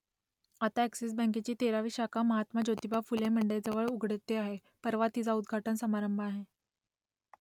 आता अ‍ॅक्सिस बँकेची तेरावी शाखा महात्मा ज्योतिबा फुले मंडईजवळ उघडते आहे , परवा तिचा उद्घाटन समारंभ आहे